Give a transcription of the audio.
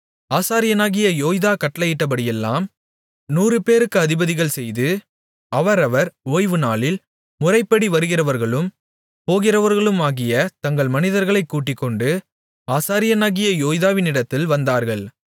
ஆசாரியனாகிய யோய்தா கட்டளையிட்டபடியெல்லாம் நூறுபேருக்கு அதிபதிகள் செய்து அவரவர் ஓய்வுநாளில் முறைப்படி வருகிறவர்களும் போகிறவர்களுமாகிய தங்கள் மனிதர்களைக் கூட்டிக்கொண்டு ஆசாரியனாகிய யோய்தாவினிடத்தில் வந்தார்கள்